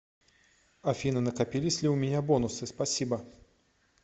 афина накопились ли у меня бонусы спасибо